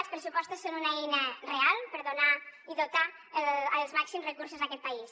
els pressupostos són una eina real per donar i dotar dels màxims recursos aquest país